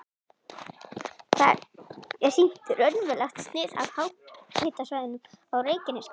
Þar er sýnt raunverulegt snið af háhitasvæðunum á Reykjanesskaga.